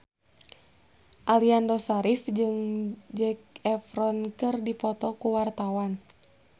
Aliando Syarif jeung Zac Efron keur dipoto ku wartawan